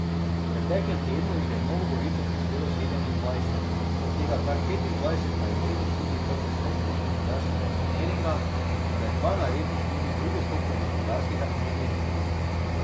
V preteklem tednu jih je v Novo Gorico prispelo sedemindvajset, od tega kar petindvajset na izredni študij prve stopnje Gospodarskega inženiringa ter dva na izredni študij druge stopnje Gospodarskega inženiringa.